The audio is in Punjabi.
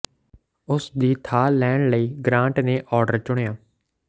ਉਸ ਦੀ ਥਾਂ ਲੈਣ ਲਈ ਗ੍ਰਾਂਟ ਨੇ ਆਰਡਰ ਚੁਣਿਆ